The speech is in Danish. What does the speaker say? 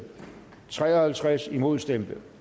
tre og halvtreds imod stemte